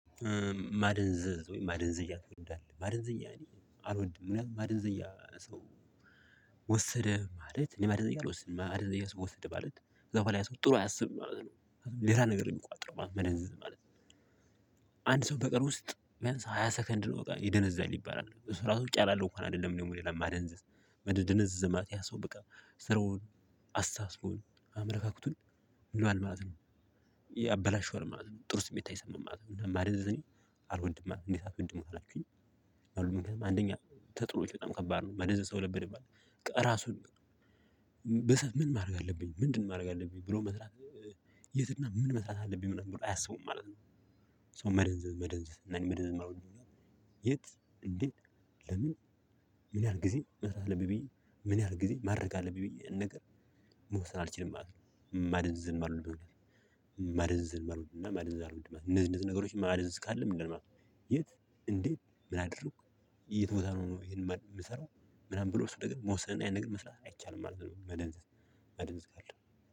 ማደንዘዝ ማደንዘዣ የሚወድ አለ ማደንዘዣ እኔ አልወድም ምክንያቱም ማደንዘዣ ሰው ወሰደ ማለት ማደንዘዣ ወሰደ ማለት ከዛ በኃላ ያ ሰው ጥሩ አያስብም ማለት ነው። ሌላ ነገር ነው የሚቁአጥረው ማለት ነው። ማደንዘዣ ማለት። አንድ ሰው በቀን ውስጥ ቢያንስ ሃያ ሰከንድ ነው በቃ ይደነዝዛል ይባላል እሱ ራሱ እጫራለሁ እንኳን አይደለም ነው የምለው ለማደንዘዝ በጣም ደነዝዝ ማለት ያ ሰው በቃ ስራውን አስተሳሰቡን አመለካከቱን ይሏል ማለት ነው። ያበላሸዋል ነው ማለት ነው ጥሩ ስሜት አይሰማም ማለት ነው። ማለት እኔ አልወድም። እንዴት አትወድም ካላችሁኝ። ተጥዎች በጣም ከባድ ነው መደዘዘው ለብልህ ማለት ነው። ራሱን ምን ማድረግ አለብኝ ምንድነው ማድረግ አለብኝ ብሎ መስራት የትና? ምን መስራት አለብኝ? ምናምን ብሎ አያስቡም ማለት ነው። ሶ መደንዝ መደንዘዝ ነን መደንዘዝ መሆን የት? እንዴት? ለምን? ምን ያህል ጊዜ መስራት አለብዬ? ምን ያህል ጊዜ ማድረግ አለብኝ ብዬ ነገር መወሰን አልችልም ማለት ነው። ማደዘዝየማልወደው ነገር። ማደንዘዝን መርዝን እና መርዝን እንደዛ ነገሮች መርዝን ካለም እንደማያውቅ የት? እንዴት ምን አድርጎ? የት ቦታ ነው የምሰራው። ምናምን ብሎ እሱ ደግሞ መወሰን እና ነገር መስራት አይቻልም ማለት ነው። መደንዘዝ መደንዘዝ ካለ